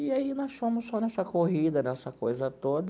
E aí nós fomos só nessa corrida, nessa coisa toda.